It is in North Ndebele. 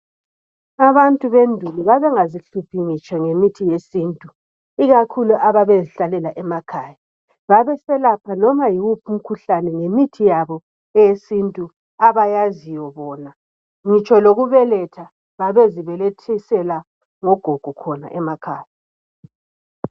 Abantu bendulo babengazi hluphi ngitsho ngemithi yesintu ikakhulu ababezihlalela emakhaya babeselapha noma yiwuphi umkhuhlane ngemithi yabo eyesintu abayaziyo bona ngitsho lokubeletha babezibelethisela ogogo khona emakhaya.